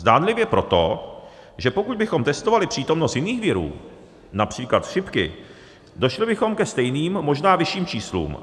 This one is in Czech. Zdánlivě proto, že pokud bychom testovali přítomnost jiných virů, například chřipky, došli bychom ke stejným, možná vyšším číslům.